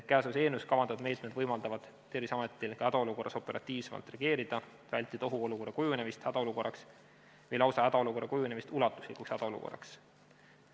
Käesolevas eelnõus kavandatud meetmed võimaldavad Terviseametil ka hädaolukorras operatiivsemalt reageerida, vältida ohuolukorra kujunemist hädaolukorraks või hädaolukorra kujunemist lausa ulatuslikuks hädaolukorraks.